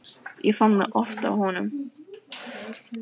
Ég fann það oft á honum.